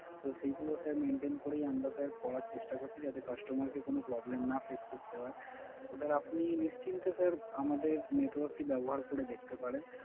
তো সেইগুলো Sir maintain করেই আমরা Sir করার চেষ্টা করছি যাতে Customer কে কোন Problem না Face করতে হয়